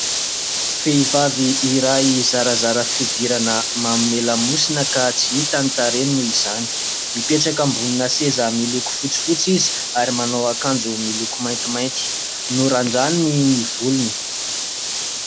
Vehivavy iray zarazara fihodirana manome lamosina ka tsy hita ny tarehiny noho izany ; mipetraka ambonina seza miloko fotsifotsy izy ary manao akanjo miloko maintimainty norandraniny ny volony.